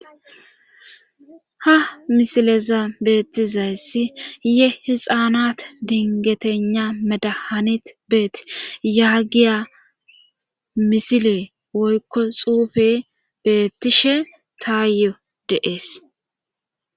Ha misileza beettizayssi yehixaanat dingetena medahanit beet yaagiya misile woykko xuufe beettishe taayo deees.